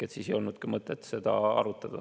Siis ei olnud ka mõtet seda arutada.